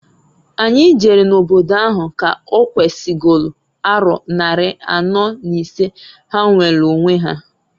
Anyi jere n'obodo ahụ ka owesigolu aro nnari anọọ n'isee ha nweelu onwe ha.